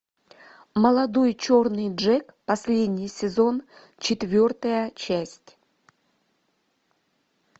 молодой черный джек последний сезон четвертая часть